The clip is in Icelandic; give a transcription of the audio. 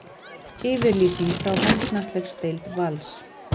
Yfirlýsing frá handknattleiksdeild Vals